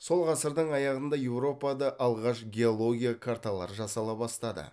сол ғасырдың аяғында еуропада алғаш геология карталар жасала бастады